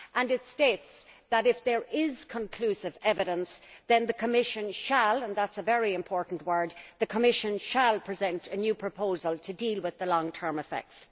It states that if there is conclusive evidence then the Commission shall and that is a very important word the Commission shall present a new proposal to deal with the long term effects.